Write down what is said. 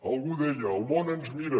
algú deia el món ens mira